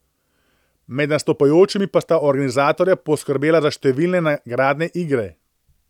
Med nastopajočimi pa sta organizatorja poskrbela za številne nagradne igre.